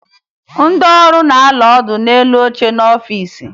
Ndị ọrụ na-anọ ọdụ n'elu oche n'ọfiisi